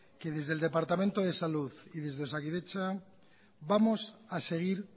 que desde el departamento de salud y desde osakidetza vamos a seguir